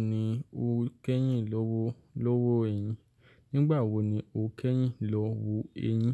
Níbo ni o kẹ́yìn lọ wo lówó ẹyìn? Nígbà wo ni o kẹ́yìn lọ wo eyín,